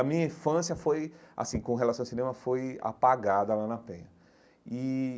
A minha infância foi assim com relação ao cinema foi apagada lá na Penha e.